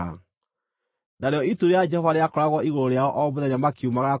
Narĩo itu rĩa Jehova rĩakoragwo igũrũ rĩao o mũthenya makiumagara kuuma kambĩ.